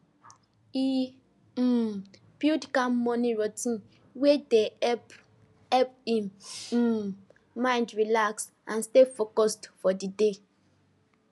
he um build calm morning routine wey dey help help him um mind relax and stay focused for the day